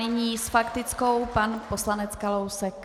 Nyní s faktickou pan poslanec Kalousek.